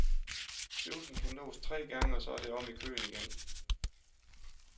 Øvelsen kan nås tre gange og så er det om i køen igen.